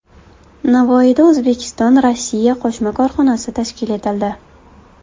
Navoiyda O‘zbekistonRossiya qo‘shma korxonasi tashkil etildi.